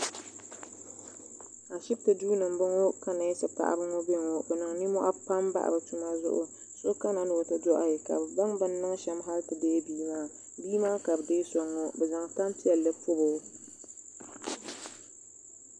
ashibiti duu ni n bɔŋɔ ka neesi paɣaba ŋɔ bɛ ŋɔ bi niŋ nimmohi pam bahi bi tuma zuɣu so kana ti o ti doɣi ka bi baŋ bi ni niŋ shɛm hali ti deei bia maa bia maa ka bi zaŋ soŋ ŋɔ bi zaŋ tani piɛlli pobo